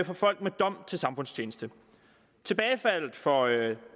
for folk med dom til samfundstjeneste tilbagefaldet for